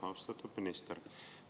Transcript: Austatud minister!